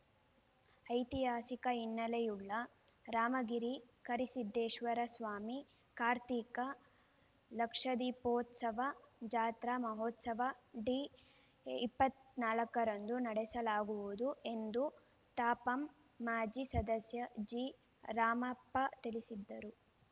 ಐತಿಹಾಸಿಕ ಹಿನ್ನೆಲೆಯುಳ್ಳ ರಾಮಗಿರಿ ಕರಿಸಿದ್ದೇಶ್ವರಸ್ವಾಮಿ ಕಾರ್ತೀಕ ಲಕ್ಷದೀಪೋತ್ಸವ ಜಾತ್ರಾ ಮಹೋತ್ಸವ ಡಿ ಇಪ್ಪತ್ತ್ ನಾಲ್ಕರಂದು ನಡೆಸಲಾಗುವುದು ಎಂದು ತಾಪಂ ಮಾಜಿ ಸದಸ್ಯ ಜಿರಾಮಪ್ಪ ತಿಳಿಸಿದ್ದರು